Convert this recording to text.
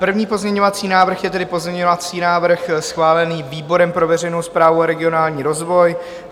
První pozměňovací návrh je tedy pozměňovací návrh schválený výborem pro veřejnou správu a regionální rozvoj.